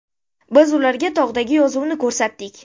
Biz ularga tog‘dagi yozuvni ko‘rsatdik.